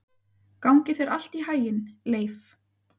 Gangi þér allt í haginn, Leif.